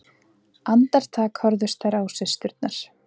Andartak horfðust þær á systurnar.